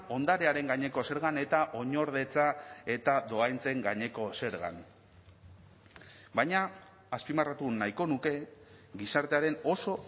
ondarearen gaineko zergan eta oinordetza eta dohaintzen gaineko zergan baina azpimarratu nahiko nuke gizartearen oso